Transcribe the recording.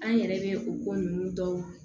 An yɛrɛ bɛ o ko ninnu tɔw